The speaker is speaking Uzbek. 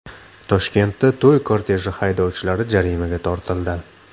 Toshkentda to‘y korteji haydovchilari jarimaga tortildi.